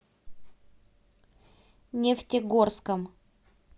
нефтегорском